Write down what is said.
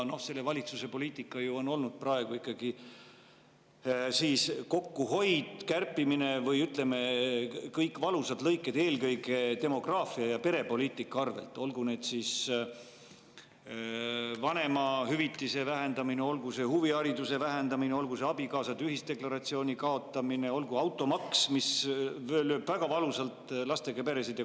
Selle valitsuse poliitika on olnud praegu ikkagi kokkuhoid, kärpimine, kõik valusad lõiked, eelkõige demograafia ja perepoliitika arvel, olgu vanemahüvitise vähendamine, olgu huvihariduse vähendamine, olgu abikaasade ühisdeklaratsiooni kaotamine, olgu automaks, mis lööb väga valusalt lastega peresid.